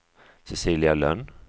Cecilia Lönn